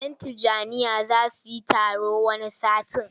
Yan Tijjaniyya za su yi taro wani satin.